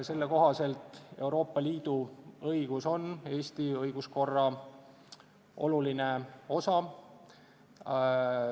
Selle kohaselt on Euroopa Liidu õigus Eesti õiguskorra oluline osa.